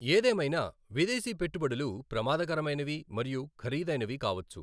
ఏదేమైనా, విదేశీ పెట్టుబడులు ప్రమాదకరమైనవి మరియు ఖరీదైనవి కావచ్చు.